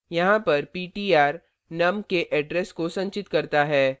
यहाँ पर ptr num के address को संचित करता है